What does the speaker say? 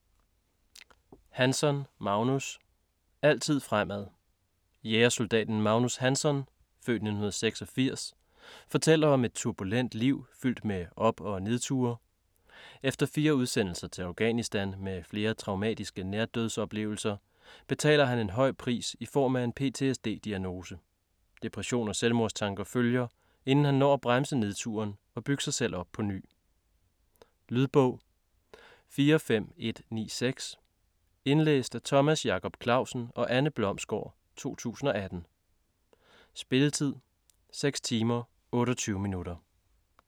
Hansson, Magnus: Altid fremad Jægersoldaten Magnus Hansson (f. 1986) fortæller om et turbulent liv, fyldt med op- og nedture. Efter fire udsendelser til Afghanistan med flere traumatiske nærdødsoplevelser, betaler han en høj pris i form af en PTSD-diagnose. Depression og selvmordstanker følger, inden han når at bremse nedturen og bygge sig selv op på ny. Lydbog 45196 Indlæst af Thomas Jacob Clausen og Anne Blomsgård, 2018. Spilletid: 6 timer, 28 minutter.